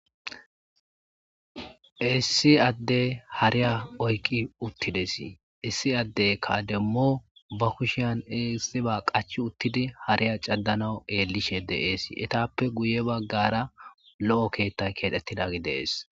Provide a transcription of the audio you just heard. issi adde hariya oyqi uttidesi issi addey kademmo ba kushiyan eissiba qach uttidi hariya caddanawu eellishe de7eesi etappe guye baggara lo7o keettay keedettidagi dees